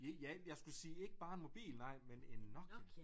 Ja ja jeg skulle sige ikke bare en mobil nej men en Nokia